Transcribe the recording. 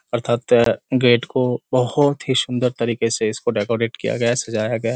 अर्थात त गेट को बहोत ही सुंदर तरीके से इसको डेकोरेट किया गया सजाया गया।